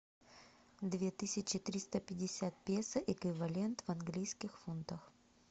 две тысячи триста пятьдесят песо эквивалент в английских фунтах